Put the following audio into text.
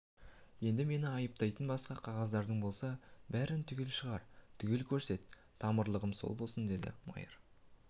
енді мені айыптайтын басқа қағаздарың болса бәрін түгел шығар түгел көрсет тамырлығым сол болсын деді майыр